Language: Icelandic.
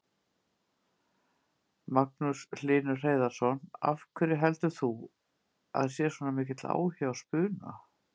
Magnús Hlynur Hreiðarsson: Af hverju heldur þú að sé svona mikill áhugi á spuna?